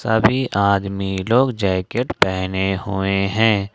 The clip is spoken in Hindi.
सभी आदमी लोग जैकेट पहने हुए हैं।